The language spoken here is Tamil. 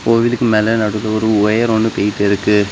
கோயிலுக்கு மேல நடுவுல ஒரு ஒயர் ஒன்னு போயிட்டுருக்கு.